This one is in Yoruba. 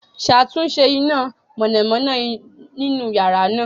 Ṣatunṣe ina mọnamọna ninu yara naa